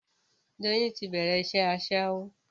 Doyin ti bẹ̀rẹ̀ iṣẹ́ Aṣẹ́wó